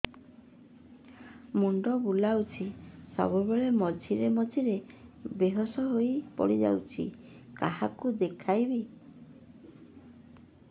ମୁଣ୍ଡ ବୁଲାଉଛି ସବୁବେଳେ ମଝିରେ ମଝିରେ ବେହୋସ ହେଇ ପଡିଯାଉଛି କାହାକୁ ଦେଖେଇବି